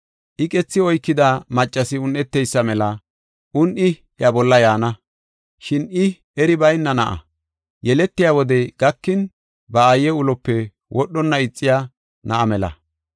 Iqethi oykida maccasi un7eteysa mela un7i iya bolla yaana. Shin I eri bayna na7a; yeletiya wodey gakin, ba aaye ulope wodhonna ixiya na7a mela.